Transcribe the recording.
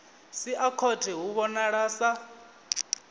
sia khothe hu vhonala sa